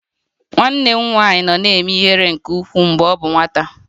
Nwanne m nwanyị na-eme ihere nke ukwuu mgbe ọ bụ nwata